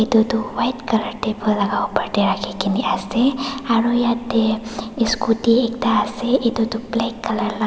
etu tu white colour table laga opor te rakhi de kene ase aro yate scooty ekta ase etu tu black colour laga--